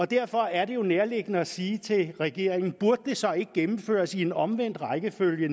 derfor er det nærliggende at sige til regeringen burde det så ikke gennemføres i omvendt rækkefølge